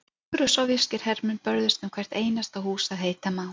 Þýskir og sovéskir hermenn börðust um hvert einasta hús að heita má.